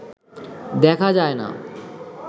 দেখা যায় না